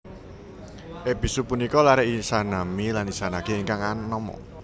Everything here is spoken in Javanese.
Ebisu punika lare Izanami lan Izanagi ingkang anama